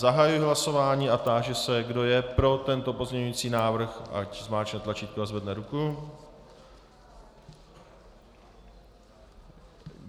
Zahajuji hlasování a táži se, kdo je pro tento pozměňovací návrh, ať zmáčkne tlačítko a zvedne ruku.